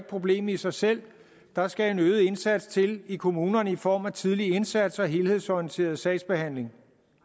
problemet i sig selv der skal en øget indsats til i kommunerne i form af tidlig indsats og helhedsorienteret sagsbehandling